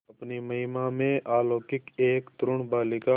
अपनी महिमा में अलौकिक एक तरूण बालिका